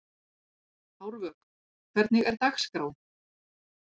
Árvök, hvernig er dagskráin?